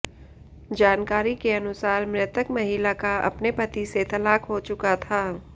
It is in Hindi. जानकारी के अनुसार मृतक महिला का अपने पति से तलाक हो चुका था